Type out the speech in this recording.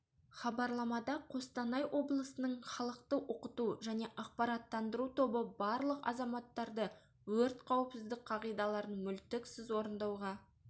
хабарламада қостанай облысының халықты оқыту және ақпараттандыру тобы барлық азаматтарды өрт қауіпсіздік қағидаларын мүлтіксіз орындауға